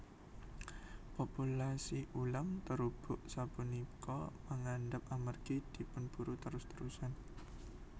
Populasi ulam terubuk sapunika mangandhap amargi dipunburu terus terusan